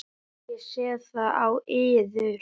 Ég sé það á yður.